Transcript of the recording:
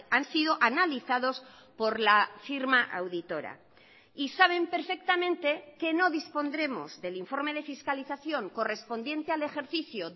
han sido analizados por la firma auditora y saben perfectamente que no dispondremos del informe de fiscalización correspondiente al ejercicio